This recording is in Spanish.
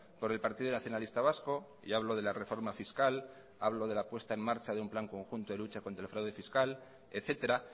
por el partido nacionalista vasco y hablo de la reforma fiscal hablo de la puesta en marcha de un plan conjunto de lucha contra el fraude fiscal etcétera